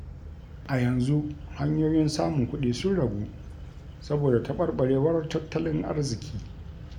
A yanzu hanyoyin samun kuɗi sun ragu, saboda taɓarɓarewar tattalin arziki.